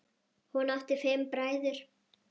Hún átti fimm bræður.